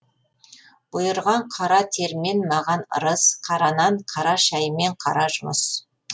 бұйырған қара термен маған ырыс қара нан қара шәй мен қара жұмыс